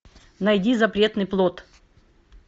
найди запретный плод